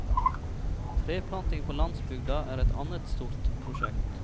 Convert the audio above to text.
Treplanting på landsbygda er et annet stort prosjekt.